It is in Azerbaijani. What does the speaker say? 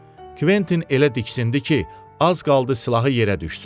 Kventin elə diksindi ki, az qaldı silahı yerə düşsün.